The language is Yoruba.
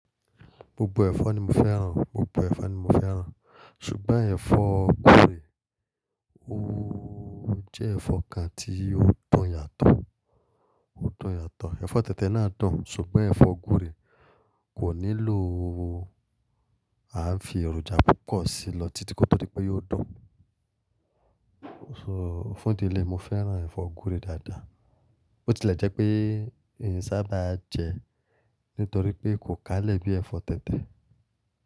Gbogbo ẹ̀fọ́ ni mo fẹ́ràn, gbogbo ẹ̀fọ́ ni mo fẹ́ràn. Ṣùgbọ́n ẹ̀fọ́ gure, ó jẹ́ ẹ̀fọ́ kan tí ó dùn yàtọ̀, ó dùn yàtọ̀. Ẹ̀fọ́ tẹ̀tẹ̀ náà dùn, ṣùgbọ́n ẹ̀fọ́ gure kò nílò a ń fi èròjà púpọ̀ sí i lọ títí kí ó tó dípọ̀ yóò dùn. So fún ìdí lé mo fẹ́ràn ẹ̀fọ́ gúre dáadáa. Ó ti lẹ̀ jẹ́ pé èyí sá bá jẹ nítorí pé kò kalẹ̀ bí ẹ̀fọ́ tẹ̀tẹ̀